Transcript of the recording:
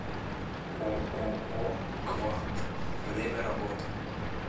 ооо квант время работы